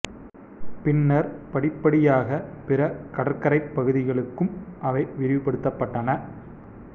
பின்னர் படிப்படியாக பிற கடற்கரைப் பகுதிகளுக்கும் அவை விரிவு படுத்தப்பட்டன